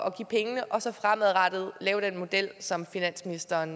at give pengene og så fremadrettet lave den model som finansministeren